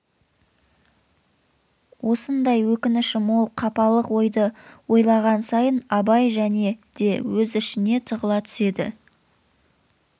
осындай өкініші мол қапалық ойды ойлаған сайын абай және де өз ішіне тығыла түседі